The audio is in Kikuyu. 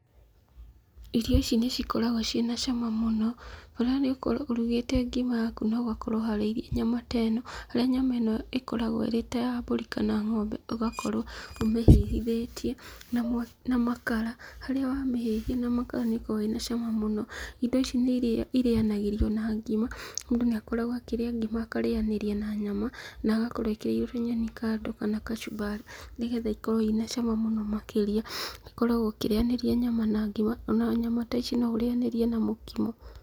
Irio ici nĩ cikoragwo ciĩna cama mũno, okorwo nĩ ũgũkorwo ũrugĩte ngima yaku na ũgakorwo ũharĩirie nyama ta ĩno harĩa nyama ĩno ĩkoragwo ĩrĩ ta ya mbũri kana ng'ombe ũgakorwo ũmĩhĩhithĩtie na makara harĩa wamĩhĩhia na makara nĩkoragwo ĩna cama mũno. Indo ici irĩanagĩrio na ngima, mũndũ nĩ akoragwo akĩrĩa ngima akarĩanĩria na nyama na agakorwo ekĩrĩirwo nyeni kando kana kacumbari nĩ getha ikorwo inacama mũno makĩria. Ũkoragwo ũkĩrĩanĩria nyama na ngima, ona nyama ta ici no ũrĩanĩrie na mũkimo.